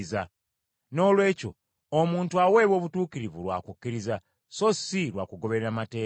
Noolwekyo omuntu aweebwa obutuukirivu lwa kukkiriza so si lwa kugoberera mateeka.